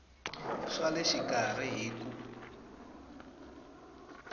swa le xikarhi hi ku